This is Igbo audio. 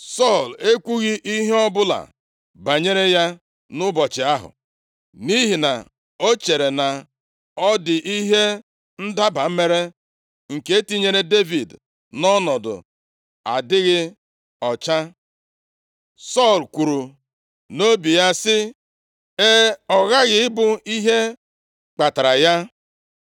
Sọl ekwughị ihe ọbụla banyere ya nʼụbọchị ahụ, nʼihi na o chere na ọ dị ihe ndaba mere, nke tinyere Devid nʼọnọdụ adịghị ọcha. + 20:26 \+xt Lev 7:20-21; 15:1-5\+xt* Sọl kwuru nʼobi ya sị, “E, ọ ghaghị ịbụ ihe kpatara ya.”